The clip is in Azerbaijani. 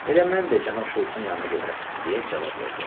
Elə mən də cənab Şultsın yanına gedirəm, deyə cavab verdi.